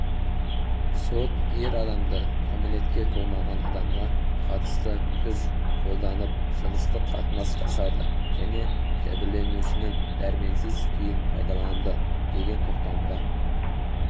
сот ер адамдыкәмелетке толмаған адамға қатыстыкүш қолданыпжыныстық қатынас жасады және жәбірленушінің дәрменсіз күйін пайдаланды деген тоқтамға